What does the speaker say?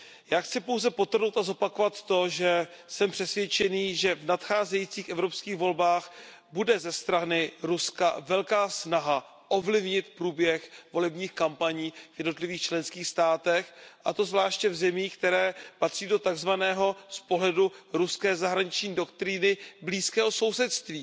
Já chci pouze podtrhnout a zopakovat to, že jsem přesvědčený, že v nadcházejících evropských volbách bude ze strany Ruska velká snaha ovlivnit průběh volebních kampaní v jednotlivých členských státech, a to zvláště v zemích, které patří z pohledu ruské zahraniční doktríny do takzvaného blízkého sousedství.